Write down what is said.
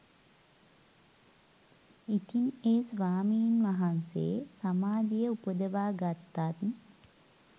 ඉතින් ඒ ස්වාමීන් වහන්සේ සමාධිය උපදවා ගත්තත්